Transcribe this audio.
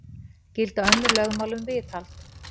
Gilda önnur lögmál um viðhald